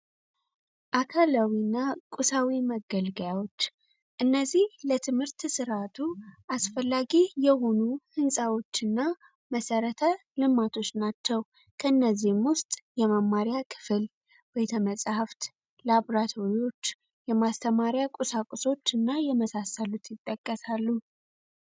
አካላዊና ቁሳዊ መገልገያዎች እና ትምህርት ስርዓቱ አስፈላጊ የሆኑ ህንጻዎችና መሰረተ ልማቶች ናቸው መጽሃፍት የማስተማሪያ ቁሳቁሶች እና የመሳሰሉት ይጠቀሳሉ